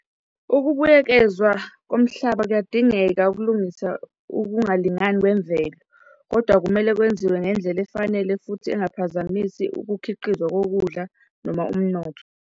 Ukubuyekezwa komhlaba kuyadingeka ukulungisa ukungalingani kwemvelo, kodwa kumele kwenziwe ngendlela efanele futhi engaphazamisi ukukhiqizwa kokudla noma umnotho.